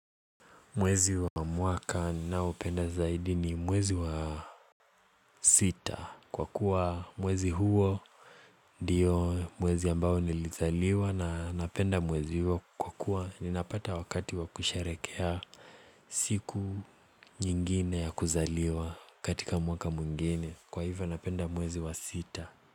Mwezi wa mwaka ninaoupenda zaidi ni mwezi wa sita Kwa kuwa mwezi huo diyo mwezi ambao nilizaliwa na napenda mwezi huo Kwa kuwa ninapata wakati wa kusharekea siku nyingine ya kuzaliwa katika mwaka mwngine Kwa hivyo napenda mwezi wa sita.